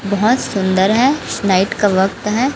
बहुत सुंदर है नाइट का वक्त है।